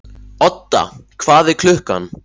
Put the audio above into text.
Odda, hvað er klukkan?